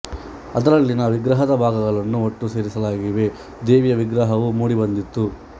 ಅದರಲ್ಲಿನ ವಿಗ್ರಹದ ಭಾಗಗಳನ್ನು ಒಟ್ಟು ಸೇರಿಸಲಾಗಿ ದೇವಿಯ ವಿಗ್ರಹವು ಮೂಡಿಬಂದಿತು